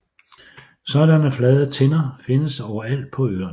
Sådanne flade tinder findes overalt på øerne